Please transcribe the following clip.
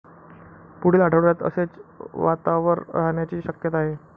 पुढील आठवड्यात असेच वातावर राहण्याची शक्यता आहे.